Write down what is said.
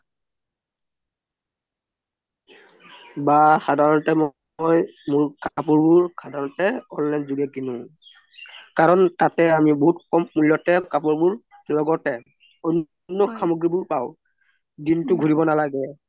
বা মই সাধাৰণতে মোৰ কপুৰ বোৰ online জুগে কিনো কাৰন তাতে আমি কোম মুল্যতে কাপুৰ বুৰ লগতে অন্ন্য সমগ্ৰি বুৰ পাও দিন্তু ঘুৰিও নালাগে